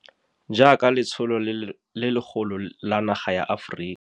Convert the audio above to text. Jaaka letsholo le legolo la naga ya Aforika.